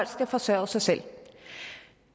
skal forsørge sig selv